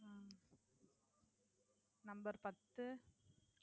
உம் Number பத்து